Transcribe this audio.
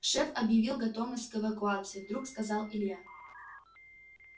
шеф объявил готовность к эвакуации вдруг сказал илья